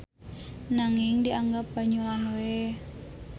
Nanging dianggap banyolan we.